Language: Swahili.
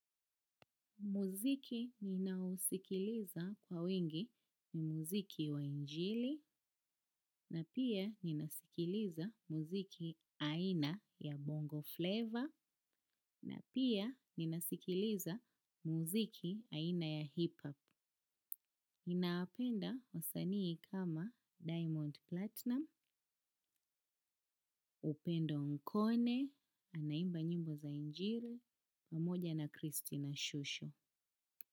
Muziki ninausikiliza kwa wingi ni muziki wa injili na pia ninasikiliza muziki aina ya bongo flav na pia ninasikiliza muziki aina ya hip hop. Ninawapenda wasanii kama diamond platinum, upendo nkone, anaimba nyimbo za injili, pamoja na kristina shusho.